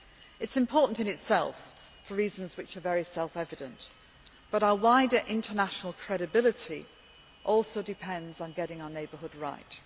This is important in itself for reasons which are very self evident, but our wider international credibility also depends on getting our neighbourhood right.